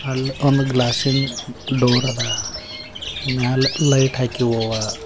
ಒಂದು ಗ್ಲಾಸಿ ನ್ ಡೋರ್ ಅದ ಮ್ಯಾಲೆ ಲೈಟ್ ಹಾಕಿವ್ ಅವ.